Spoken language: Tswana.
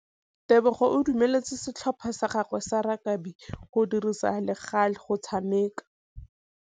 Tebogô o dumeletse setlhopha sa gagwe sa rakabi go dirisa le galê go tshameka.